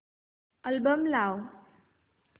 album लाव